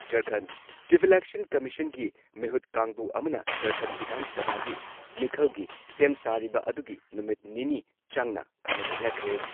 ꯓꯔꯈꯟꯗ- chief election ꯀꯃꯤꯁꯟꯒꯤ ꯃꯤꯍꯨꯠ ꯀꯥꯡꯕꯨ ꯑꯃꯅ ꯓꯔꯈꯟꯗ ꯚꯤꯙꯥꯟ ꯁꯚꯥꯒꯤ ꯃꯤꯈꯜꯒꯤ ꯁꯦꯝ ꯁꯥꯔꯤꯕ ꯑꯗꯨꯒꯤ ꯅꯨꯃꯤꯠ ꯅꯤꯅꯤ ꯆꯪꯅ ꯈꯟꯅ ꯅꯩꯅꯈ꯭ꯔꯦ ꯫